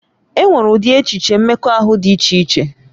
E nwere ụdị echiche mmekọahụ dị iche iche